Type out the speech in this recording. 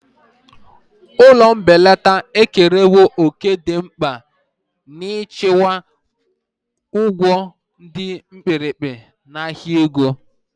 Ụlọ mbelata ekerewo òkè dị mkpa n'ịchịkwa ụgwọ dị mkpirikpi n'ahịa ego.